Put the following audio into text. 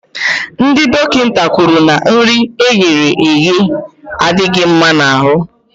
Ndị dọkịta kwuru na nri eghere aghe adịghị mma n'ahụ